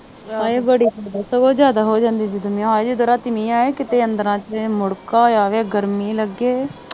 ਹਾਏ ਉਹ ਜਿਆਦਾ ਹੋ ਜਾਂਦੀ ਆ, ਜਦੋਂ ਰਾਤੀਂ ਮੀਂਹ ਆਇਆ ਨਾ, ਮੁੜਕਾ ਆਇਆ ਵਾ, ਗਰਮੀ ਲੱਗੇ।